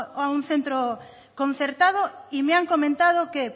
a un centro concertado y me han comentado que